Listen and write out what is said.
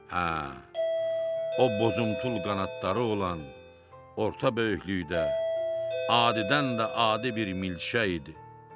Hə, o bozuntul qanadları olan orta böyüklükdə adidən də adi bir milçək idi.